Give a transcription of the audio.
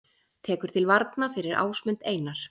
Tekur til varna fyrir Ásmund Einar